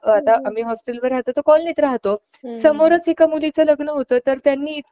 आता आम्ही हॉस्टेल वर राहतो तर कॉलोनीत राहतो , समोरच एका मुलीचं लग्न होत तर तेव्हा त्यांनी